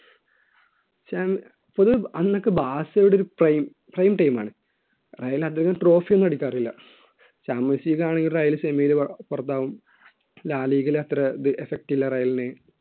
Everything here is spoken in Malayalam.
വെച്ചാൽ പൊതു അന്നൊക്കെ ബാസിലോണിയുടെ ഒരു prime prime time ആണ് റയൽ അന്നോരു trophy ഒന്നും അടിക്കാറില്ല ചാമ്പ്യൻസ് ലീഗ് ആണെങ്കിൽ റയല് സെമിയിൽ പുറത്താവും ലാലീഗിൽ അത്ര effect ഇല്ല റയലിന്